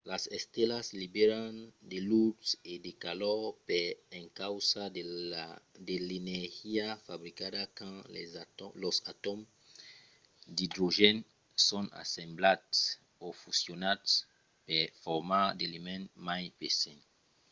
las estelas liberan de lutz e de calor per encausa de l'energia fabricada quand los atòms d'idrogèn son assemblats o fusionats per formar d'elements mai pesants